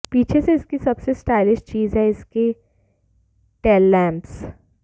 पीछे से इसकी सबसे स्टायलिश चीज है इसकी टेललैम्प्स